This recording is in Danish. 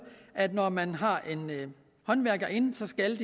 at når man har en håndværker inde så skal